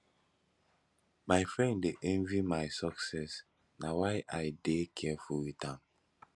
my friend dey envy my success na why i dey careful wit am